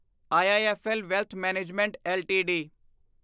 IIFL wealth management LTD